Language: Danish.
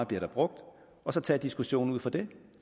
bliver brugt og så tage diskussionen ud fra det